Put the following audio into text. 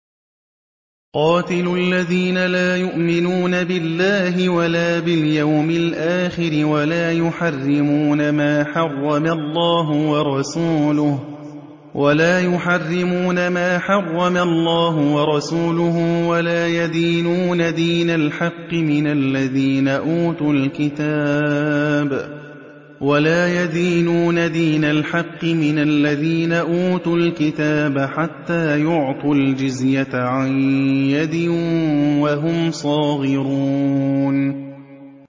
قَاتِلُوا الَّذِينَ لَا يُؤْمِنُونَ بِاللَّهِ وَلَا بِالْيَوْمِ الْآخِرِ وَلَا يُحَرِّمُونَ مَا حَرَّمَ اللَّهُ وَرَسُولُهُ وَلَا يَدِينُونَ دِينَ الْحَقِّ مِنَ الَّذِينَ أُوتُوا الْكِتَابَ حَتَّىٰ يُعْطُوا الْجِزْيَةَ عَن يَدٍ وَهُمْ صَاغِرُونَ